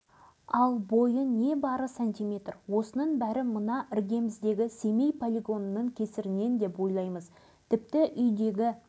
мен өзім бар-жоғы ғанамын кейінгі жастардың көбісі елуге келмей өліп жатыр осында қаббасов бөлкен деген кісінің